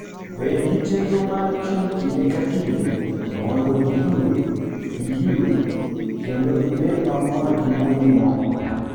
Bed gi chenro mar chung' kinde ka kinde mondo iyue, iyue, kendo ibed mamor gi wuodhino.